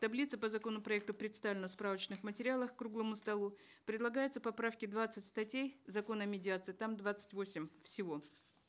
таблица по законопроекту представлена в справочных материалах к круглому столу предлагаются поправки в двадцать статей закона о медиации там двадцать восемь всего